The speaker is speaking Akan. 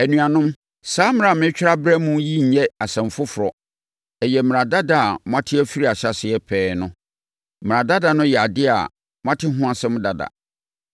Anuanom, saa mmara a meretwerɛ abrɛ mo yi nyɛ asɛm foforɔ. Ɛyɛ mmara dada a moate firi ahyɛaseɛ pɛɛ no. Mmara dada no yɛ adeɛ a moate ho asɛm dada.